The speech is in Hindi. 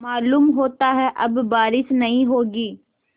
मालूम होता है अब बारिश नहीं होगी